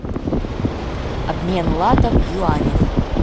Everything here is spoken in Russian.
обмен лата в юанях